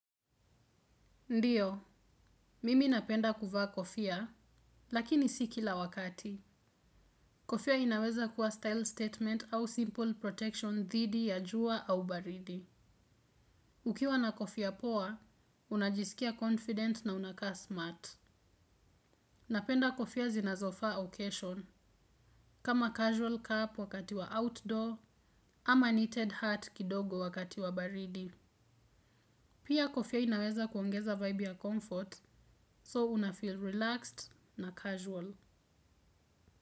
Ndiyo, mimi napenda kuvaa kofia, lakini si kila wakati. Kofia inaweza kuwa style statement au simple protection dhidi ya jua au baridi. Ukiwa na kofia poa, unajisikia confident na unakaa smart. Napenda kofia zinazofaa occasion, kama casual cup wakati wa outdoor, ama knitted hat kidogo wakati wa baridi. Pia kofia inaweza kuongeza vibe ya comfort, so unafeel relaxed na casual.